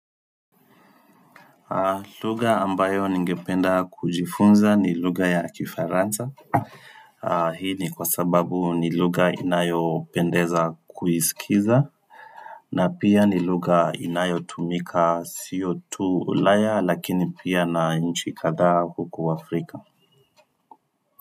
Lugha ambayo ningependa kujifunza ni luga ya kifaransa Hii ni kwa sababu ni lugha inayopendeza kuisikiza na pia ni lugha inayotumika sio tu ulaya lakini pia na nchi kadhaa huku Afrika.